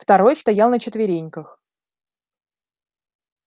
второй стоял на четвереньках